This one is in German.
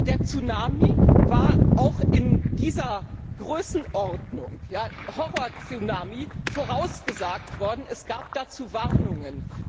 Der Tsunami war auch in dieser Größenordnung als Horror Tsunami vorausgesagt worden, es gab dazu Warnungen.